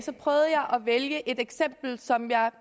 vælge et eksempel som jeg